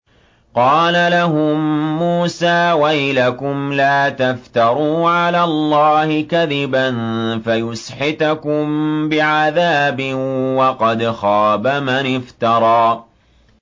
قَالَ لَهُم مُّوسَىٰ وَيْلَكُمْ لَا تَفْتَرُوا عَلَى اللَّهِ كَذِبًا فَيُسْحِتَكُم بِعَذَابٍ ۖ وَقَدْ خَابَ مَنِ افْتَرَىٰ